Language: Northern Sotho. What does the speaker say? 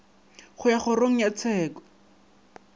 go ya kgorong ya tsheko